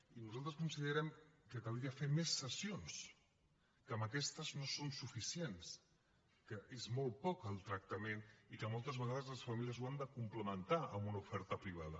i nosaltres considerem que caldria fer més sessions que amb aquestes no són suficients que és molt poc el tractament i que moltes vegades les famílies ho han de complementar amb una oferta privada